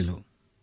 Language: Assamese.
নিশ্চয় নিশ্চয়